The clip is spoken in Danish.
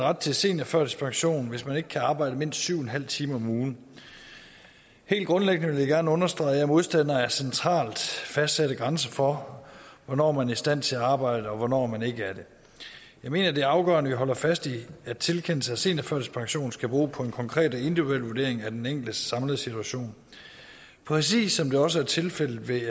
ret til seniorførtidspension hvis man ikke kan arbejde mindst syv en halv timer om ugen helt grundlæggende vil jeg gerne understrege at jeg er modstander af centralt fastsatte grænser for hvornår man er i stand til at arbejde og hvornår man ikke er det jeg mener det er afgørende at vi holder fast i at tilkendelse af seniorførtidspension skal bero på en konkret og individuel vurdering af den enkeltes samlede situation præcis som det også er tilfældet ved